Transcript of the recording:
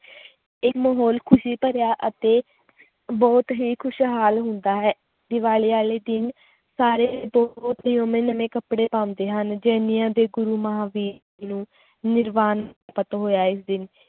ਇਹ ਮਾਹੌਲ ਖ਼ੁਸ਼ੀ ਭਰਿਆ ਅਤੇ ਬਹੁਤ ਹੀ ਖ਼ੁਸ਼ਹਾਲ ਹੁੰਦਾ ਹੈ, ਦੀਵਾਲੀ ਵਾਲੇ ਦਿਨ ਸਾਰੇ ਨਵੇਂ ਨਵੇਂ ਕੱਪੜੇ ਪਾਉਂਦੇ ਹਨ, ਜੈਨੀਆਂ ਦੇ ਗੁਰੂ ਮਹਾਵੀਰ ਜੀ ਨੂੰ ਨਿਰਵਾਨ ~ਪਤ ਹੋਇਆ ਇਸ ਦਿਨ